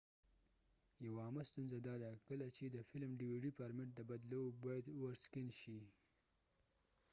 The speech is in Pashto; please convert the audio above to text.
یو عامه ستونزه داده کله چې د فلم ډي وي ډیdvd فارمیټ ته بدلوو باید اوور سکېن over scan شي